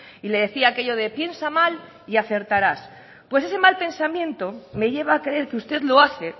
y le decía aquello de piensa mal y acertarás pues ese mal pensamiento me lleva a creer que usted lo hace